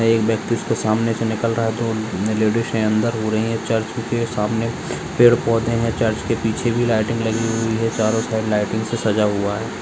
एक व्यक्ति उसके सामने से निकल रहा है तो लेडीज है अंदर रो रही है चर्च सामने पेड़ -पौधे हैं चर्च के पीछे भी लाइटिंग लगी हुई है चारो साइड से सजा हुआ हैं।